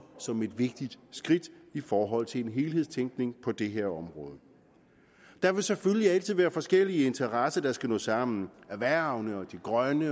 som et vigtigt skridt i forhold til en helhedstænkning på det her område der vil selvfølgelig altid være forskellige interesser der skal nå sammen erhvervenes de grønnes